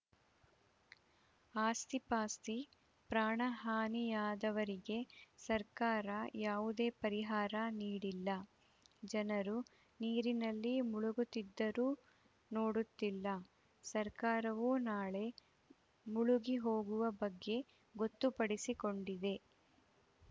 ಆಸ್ತಿಪಾಸ್ತಿ ಪ್ರಾಣ ಹಾನಿಯಾದವರಿಗೆ ಸರ್ಕಾರ ಯಾವುದೇ ಪರಿಹಾರ ನೀಡಿಲ್ಲ ಜನರು ನೀರಿನಲ್ಲಿ ಮುಳುಗುತ್ತಿದ್ದರೂ ನೋಡುತ್ತಿಲ್ಲ ಸರ್ಕಾರವೂ ನಾಳೆ ಮುಳುಗಿ ಹೋಗುವ ಬಗ್ಗೆ ಗೊತ್ತುಪಡಿಸಿಕೊಂಡಿದೆ